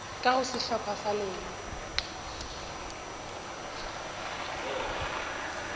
ka go sehlopha sa lena